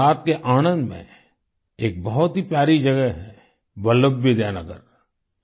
गुजरात के आणंद में एक बहुत प्यारी जगह है वल्लभ विद्यानगर